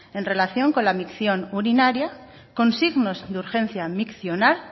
en relación con la micción urinaria con signos de urgencia miccional